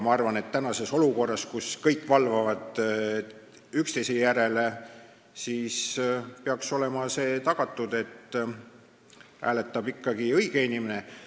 Ma arvan, et praeguses olukorras, kus kõik valvavad üksteise järele, peaks olema tagatud, et hääletab ikka õige inimene.